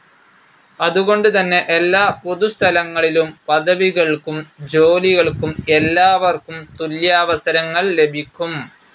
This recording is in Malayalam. അതുകൊണ്ട് തന്നെ എല്ലാ പൊതു സ്ഥലങ്ങളിലും, പദവികൾക്കും ജോലികൾക്കും എല്ലാവര്ക്കും തുല്യാവസരങ്ങൾ ലഭിക്കും.